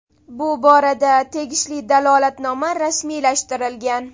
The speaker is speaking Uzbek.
Bu borada tegishli dalolatnoma rasmiylashtirilgan.